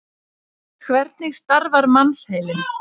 Hvernig starfar mannsheilinn?